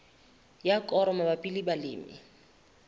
ya koro mabapi le balemi